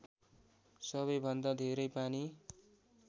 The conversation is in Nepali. सबैभन्दा धेरै पानी